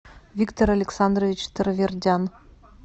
виктор александрович таравердян